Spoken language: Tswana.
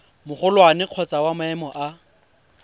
magolwane kgotsa wa maemo a